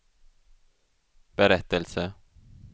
berättelse